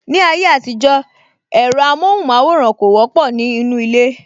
Ní ayé àtijó, ẹ̀rọ amohun maworan kò wọ́pọ̀ ní inú ilé